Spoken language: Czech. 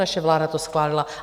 Naše vláda to schválila.